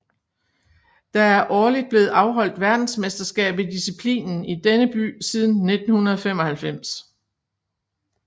Der er årligt blevet afholdt verdensmesterskab i disciplinen i denne by siden 1995